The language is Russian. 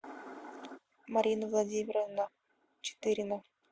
марина владимировна четырина